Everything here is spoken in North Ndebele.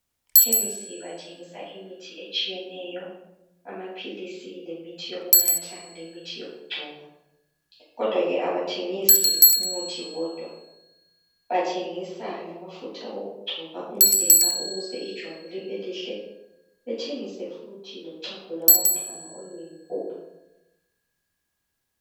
Ekhemisi bathengisa imithi etshiyeneyo amaphilisi lemithi yokunatha lemithi yokugcoba kodwa - ke abathengisi umuthi wodwa bathengisa lamafutha okugcoba umzimba ukuze ijwabu libe lihle bethengise futhi lochago lwabantwana oluyimpuphu.